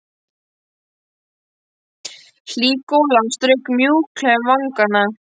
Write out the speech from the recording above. Hlý golan strauk mjúklega um vangana.